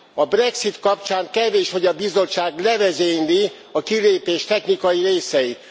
A Brexit kapcsán kevés, hogy a Bizottság levezényli a kilépés technikai részeit.